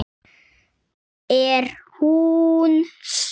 Er hún stór?